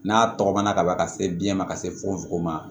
N'a tɔgɔ mɛnna kaban ka se biyɛn ma ka se fukofuko ma